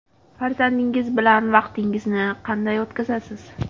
Farzandingiz bilan vaqtingizni qanday o‘tkazasiz?